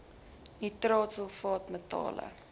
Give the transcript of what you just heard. nitraat sulfaat metale